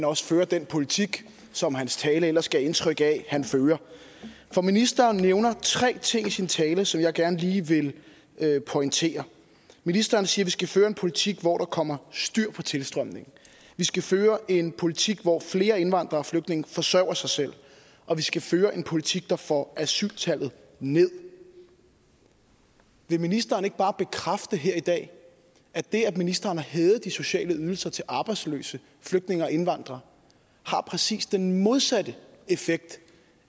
også fører den politik som hans tale ellers gav indtryk af at han fører for ministeren nævner tre ting i sin tale som jeg gerne lige vil pointere ministeren siger at vi skal føre en politik hvor der kommer styr på tilstrømningen vi skal føre en politik hvor flere indvandrere og flygtninge forsørger sig selv og vi skal føre en politik der får asyltallet nederst vil ministeren ikke bare bekræfte her i dag at det at ministeren har hævet de sociale ydelser til arbejdsløse flygtninge og indvandrere har præcis den modsatte effekt